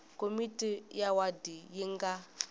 komiti ya wadi yi nga